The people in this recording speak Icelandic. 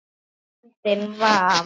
andinn var.